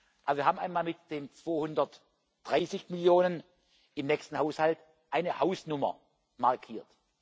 Also wir haben einmal mit den 230 Millionen im nächsten Haushalt eine Hausnummer markiert.